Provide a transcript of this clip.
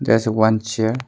There is a one chair.